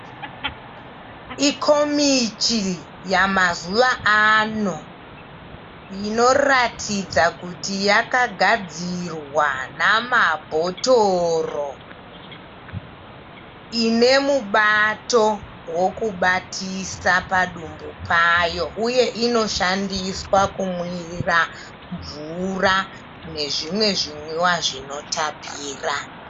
Ikomichi yamazuvaano inoratidza kuti yakagadzirwa namabhotoro. Ine mubato wokubatisa padumbu payo uye inoshandiswa kumwira mvura nezvimwe zvimwiwa zvinotapira.